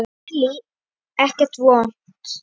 Lillý: Ekkert vont?